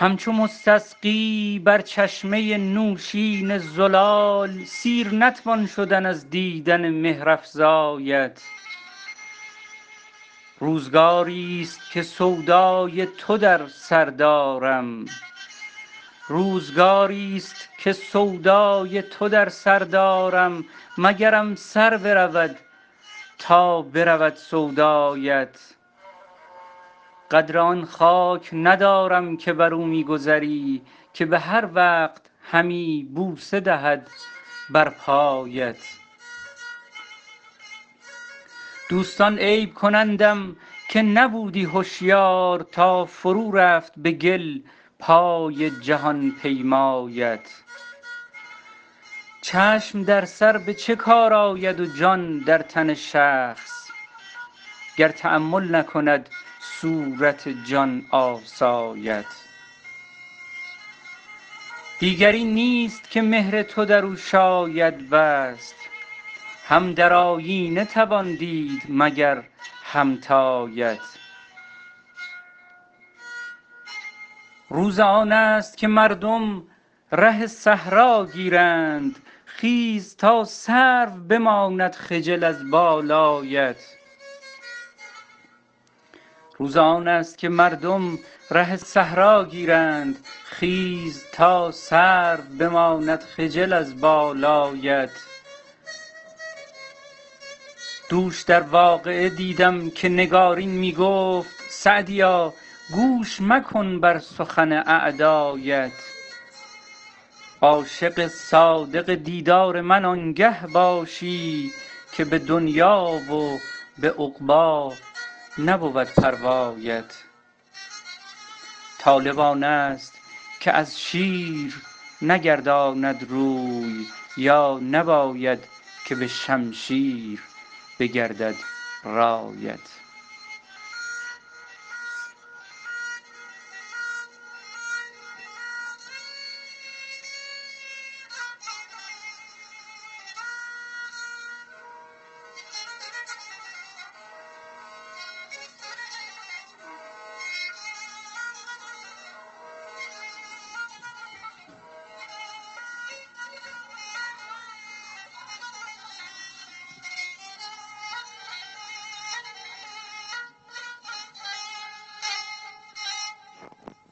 همچو مستسقی بر چشمه نوشین زلال سیر نتوان شدن از دیدن مهرافزایت روزگاریست که سودای تو در سر دارم مگرم سر برود تا برود سودایت قدر آن خاک ندارم که بر او می گذری که به هر وقت همی بوسه دهد بر پایت دوستان عیب کنندم که نبودی هشیار تا فرو رفت به گل پای جهان پیمایت چشم در سر به چه کار آید و جان در تن شخص گر تأمل نکند صورت جان آسایت دیگری نیست که مهر تو در او شاید بست هم در آیینه توان دید مگر همتایت روز آن است که مردم ره صحرا گیرند خیز تا سرو بماند خجل از بالایت دوش در واقعه دیدم که نگارین می گفت سعدیا گوش مکن بر سخن اعدایت عاشق صادق دیدار من آنگه باشی که به دنیا و به عقبی نبود پروایت طالب آن است که از شیر نگرداند روی یا نباید که به شمشیر بگردد رایت